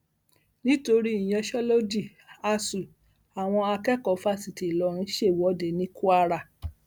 nítorí ìyanṣẹlódì asuu àwọn akẹkọọ fásitì ìlọrin ṣèwọde ní kwara